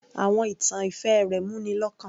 Àwọn ìtàn ìfẹ́ rẹ̀ mú ni lọ́kàn